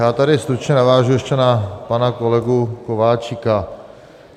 Já tady stručně navážu ještě na pana kolegu Kováčika.